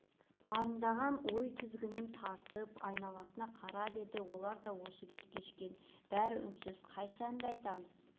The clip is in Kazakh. арындаған ойдың тізгінін тартып айналасына қарап еді олар да осы күйді кешкен бәрі үнсіз қайсы әнді айтамыз